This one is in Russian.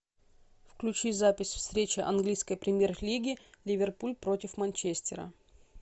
включи запись встречи английской премьер лиги ливерпуль против манчестера